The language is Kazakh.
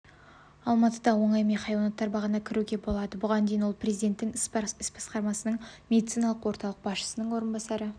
алматыда оңаймен хайуанаттар бағына кіруге болады бұған дейін ол президенті іс басқармасының медициналық орталық басшысының орынбасары